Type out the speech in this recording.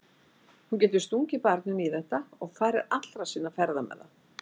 Hún getur stungið barninu í þetta og farið allra sinna ferða með það.